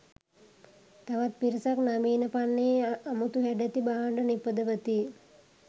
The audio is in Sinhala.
තවත් පිරිසක් නවීන පන්නයේ අමුතු හැඩැති භාණ්ඩ නිපදවති.